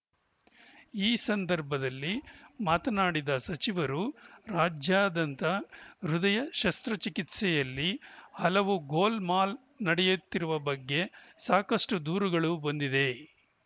ಈ ಸಂದರ್ಭದಲ್ಲಿ ಮಾತನಾಡಿದ ಸಚಿವರು ರಾಜ್ಯಾದ್ಯಂತ ಹೃದಯ ಶಸ್ತ್ರಚಿಕಿತ್ಸೆಯಲ್ಲಿ ಹಲವು ಗೋಲ್‌ಮಾಲ್‌ ನಡೆಯುತ್ತಿರುವ ಬಗ್ಗೆ ಸಾಕಷ್ಟುದೂರುಗಳು ಬಂದಿವೆ